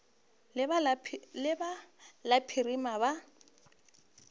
la ba la phirima ba